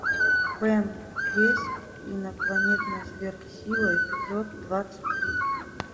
бен десять инопланетная сверхсила эпизод двадцать три